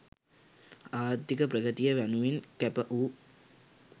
ආර්ථික ප්‍රගතිය වෙනුවෙන් කැප වූ